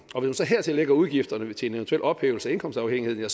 så hertil lægger udgifterne til en eventuel ophævelse af indkomstafhængigheden